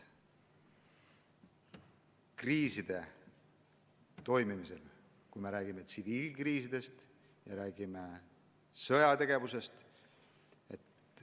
Kriiside puhul me räägime tsiviilkriisidest ja räägime sõjategevusest.